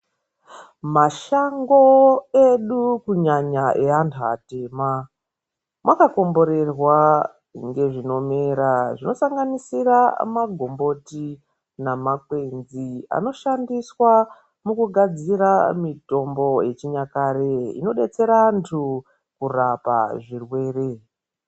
Mashango edu kunyanya evantu vatema vakakomberrwa kunge zvinorema zvinosanganisira magomboti namakwensi anoshandiswa echinyakare inodetsera antu mukurapa zvirwere.